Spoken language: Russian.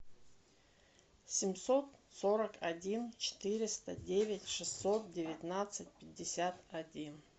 семьсот сорок один четыреста девять шестьсот девятнадцать пятьдесят один